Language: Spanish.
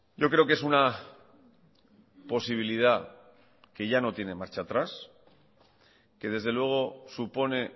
yo creo que es una posibilidad que ya no tiene marcha atrás que desde luego supone